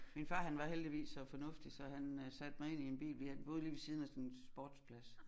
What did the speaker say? Min far han var heldigvis så fornuftig så han øh satte mig ind i en bil ved vi boede lige ved siden af sådan en sportsplads